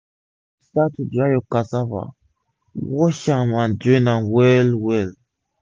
before u start to dry ur cassava wash am and drain am well well